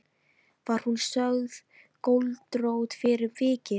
Var hún sögð göldrótt fyrir vikið.